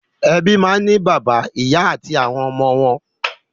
Ẹbí náà ń ní bàbá, ìyà àti àwọn ọmọ wọn.